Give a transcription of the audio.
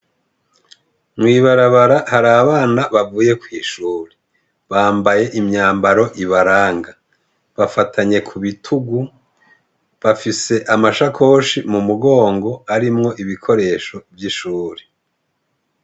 Mwibarabara hari abana bavuye kw'ishuri bambaye imyambaro ibaranga bafatanye ku bitugu bafise amashakoshi mu mugongo arimwo ibikoresho vy'ishuri.